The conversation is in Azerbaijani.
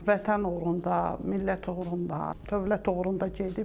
Vətən uğrunda, millət uğrunda, dövlət uğrunda gedib.